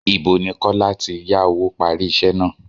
Ìbo ni Kọ́lá tí yá owó parí iṣẹ́ náà?